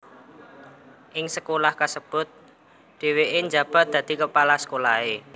Ing sekolah kasebut dhèwèké njabat dadi kepala sekolahé